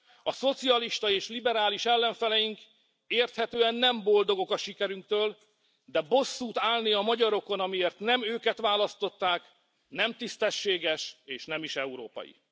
A szocialista és liberális ellenfeleink érthetően nem boldogok a sikerünktől, de bosszút állni a magyarokon, amiért nem őket választották, nem tisztességes, és nem is európai.